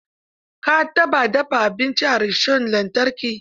Ka taɓa dafa abinci a rishon lantarki?